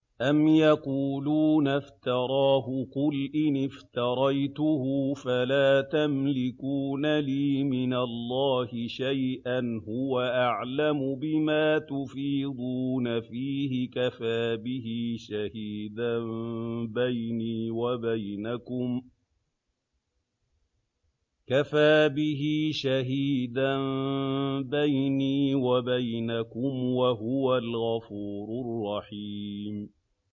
أَمْ يَقُولُونَ افْتَرَاهُ ۖ قُلْ إِنِ افْتَرَيْتُهُ فَلَا تَمْلِكُونَ لِي مِنَ اللَّهِ شَيْئًا ۖ هُوَ أَعْلَمُ بِمَا تُفِيضُونَ فِيهِ ۖ كَفَىٰ بِهِ شَهِيدًا بَيْنِي وَبَيْنَكُمْ ۖ وَهُوَ الْغَفُورُ الرَّحِيمُ